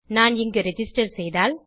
நான் இங்கு ரிஜிஸ்டர் செய்தால்